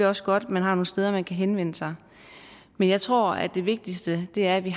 også godt at man har nogle steder hvor man kan henvende sig men jeg tror at det vigtigste er at vi